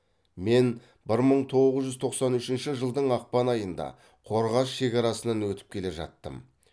мен бір мың тоғыз жүз тоқсан үшінші жылдың ақпан айында қорғас шекарасынан өтіп келе жаттым